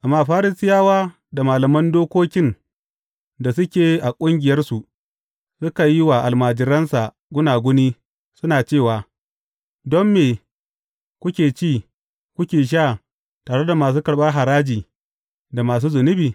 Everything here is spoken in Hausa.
Amma Farisiyawa da malaman dokokin da suke a ƙungiyarsu, suka yi wa almajiransa gunaguni, suna cewa, Don me kuke ci, kuke sha tare da masu karɓar haraji da masu zunubi?